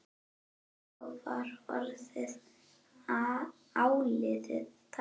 Þá var orðið áliðið dags.